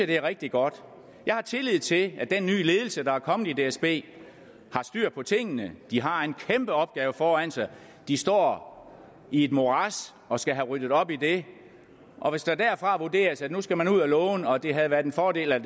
det er rigtig godt jeg har tillid til at den nye ledelse der er kommet i dsb har styr på tingene de har en kæmpe opgave foran sig de står i et morads og skal have ryddet op i det og hvis det derfra vurderes at nu skal man ud at låne og at det er en fordel at